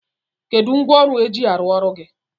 Kedụ ngwaọrụ e ji arụ ọrụ gị?